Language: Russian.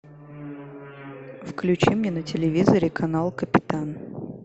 включи мне на телевизоре канал капитан